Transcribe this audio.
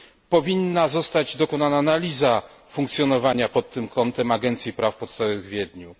Powinna zostać dokonana analiza funkcjonowania pod tym kątem Agencji Praw Podstawowych w Wiedniu.